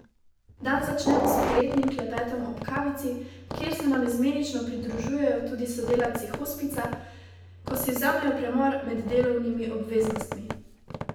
Dan začnemo s prijetnim klepetom ob kavici, kjer se nam izmenično pridružujejo tudi sodelavci hospica, ko si vzamejo premor med delovnimi obveznostmi.